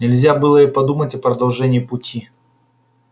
нельзя было и подумать о продолжении пути